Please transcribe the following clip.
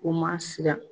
U ma siran